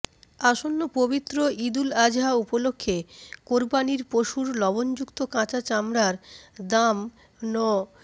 আসন্ন পবিত্র ঈদুল আজহা উপলক্ষে কোরবানির পশুর লবণযুক্ত কাঁচা চামড়ার দাম ন